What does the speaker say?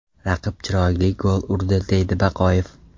Raqib chiroyli gol urdi”, deydi Baqoyev.